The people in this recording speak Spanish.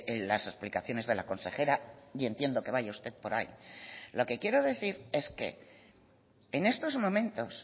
en las explicaciones de la consejera y entiendo que vaya usted por ahí lo que quiero decir es que en estos momentos